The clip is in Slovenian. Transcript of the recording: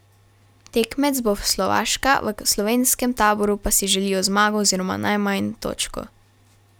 Tekmec bo Slovaška, v slovenskem taboru pa si želijo zmago oziroma najmanj točko.